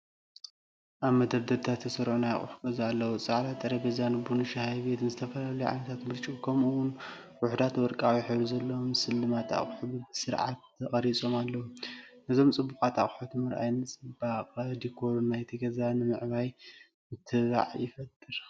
ኣብ መደርደሪታት ዝተሰርዑ ናይ ገዛ ኣቑሑት ኣለዉ። ጻዕዳ ሴራሚክ ቡን/ሻሂ ሴት፡ ዝተፈላለዩ ዓይነታት ብርጭቆ፡ ከምኡ’ውን ውሑዳት ወርቃዊ ሕብሪ ዘለዎም ስልማት ኣቑሑት ብስርዓት ተቐሪጾም ኣለዉ። ነዞም ጽቡቓት ኣቑሑት ምርኣይ ንጽባቐን ዲኮርን ናይቲ ገዛ ንምዕባይ ምትብባዕ ይፈጥር።